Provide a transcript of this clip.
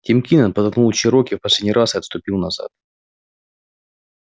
тим кинен подтолкнул чероки в последний раз и отступил назад